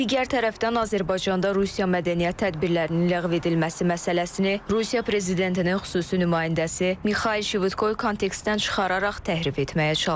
Digər tərəfdən Azərbaycanda Rusiya mədəniyyət tədbirlərinin ləğv edilməsi məsələsini Rusiya prezidentinin xüsusi nümayəndəsi Mixail Şvitkoy kontekstdən çıxararaq təhrif etməyə çalışıb.